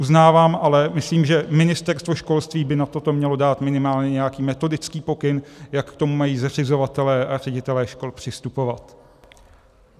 Uznávám, ale myslím, že Ministerstvo školství by na to mělo dát minimálně nějaký metodický pokyn, jak k tomu mají zřizovatelé a ředitelé škol přistupovat.